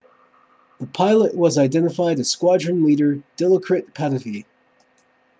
the pilot was identified as squadron leader dilokrit pattavee